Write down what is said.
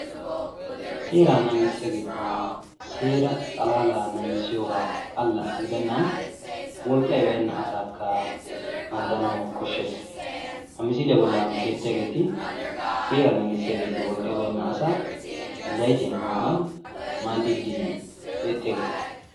Seeraa naagissiyageeti seeraa naagissiyoga xalla gidennan wolqqayi baynna asaakka maaddanawu koshshes. Ha misiliya bollan beettiyageeti seeraa naagissiyageeti wolqqayi baynna asaa zaytiya immiyogan maaddiiddi beettiyageeta.